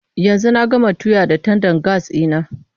Yanzu na gama tuya da tandan gas ɗina.